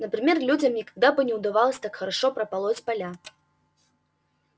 например людям никогда бы не удавалось так хорошо прополоть поля